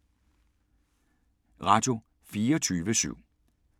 Radio24syv